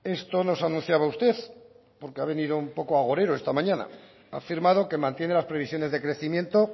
esto nos anunciaba usted porque ha venido un poco agorero esta mañana ha afirmado que mantiene las previsiones de crecimiento